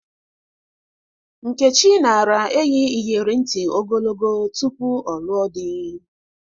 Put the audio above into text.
Nkechi nara eyi iyeri nti ogologo tupu ọ lụọ dị.